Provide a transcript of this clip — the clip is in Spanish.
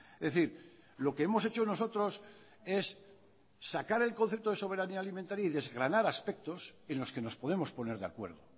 es decir lo que hemos hecho nosotros es sacar el concepto de soberanía alimentaria y desgranar aspectos en los que nos podemos poner de acuerdo